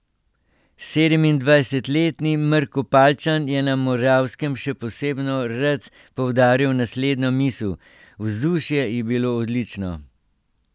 Sedemindvajsetletni Mrkopaljčan je na Moravskem še posebno rad poudaril naslednjo misel: 'Vzdušje je bilo odlično.